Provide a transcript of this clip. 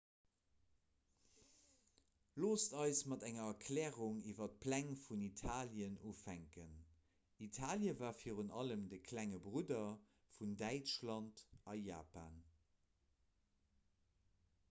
loosst eis mat enger erklärung iwwer d'pläng vun italien ufänken italie war virun allem de klenge brudder vun däitschland a japan